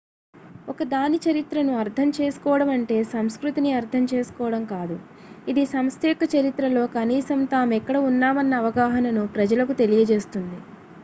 ఒక దాని చరిత్రను అర్థం చేసుకోవడమంటే సంస్కృతిని అర్థం చేసుకోవడం కాదు ఇది సంస్థ యొక్క చరిత్రలో కనీసం తామెక్కడ ఉన్నామన్న అవగాహనను ప్రజలకు తెలియజేస్తుంది